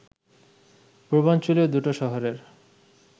পূর্বাঞ্চলীয় দুটো শহরের